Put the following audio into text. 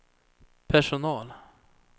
personal